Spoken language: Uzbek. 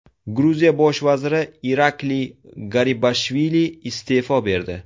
Gruziya bosh vaziri Irakliy Garibashvili iste’fo berdi.